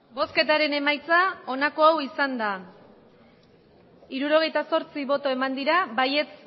botoak hirurogeita zortzi bai